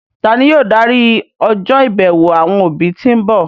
Tani yóò darí ọjọ́ ìbẹ̀wò àwọn òbí tí ń bọ̀?